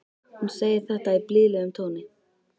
Hún segir þetta í blíðlegum tóni.